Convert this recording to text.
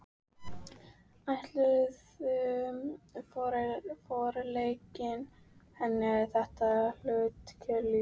Ætluðu forlögin henni þetta hlutskipti í lífinu?